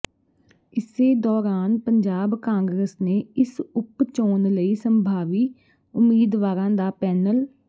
ਇਸੇ ਦੌਰਾਨ ਪੰਜਾਬ ਕਾਂਗਰਸ ਨੇ ਇਸ ਉਪ ਚੋਣ ਲਈ ਸੰਭਾਵੀ ਉਮੀਦਵਾਰਾਂ ਦਾ ਪੈਨਲ